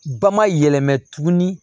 Ba ma yɛlɛmɛ tuguni